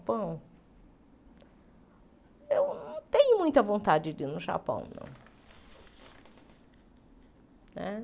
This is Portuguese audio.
eu não tenho muita vontade de ir no Japão, não né.